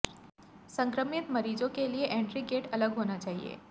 संक्रमित मरीजों के लिए एंट्री गेट अलग होना चाहिए